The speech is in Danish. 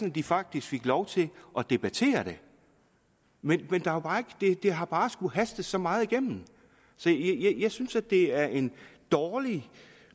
at de faktisk fik lov til at debattere det men det har bare skulle hastes så meget igennem så jeg synes at det er en dårlig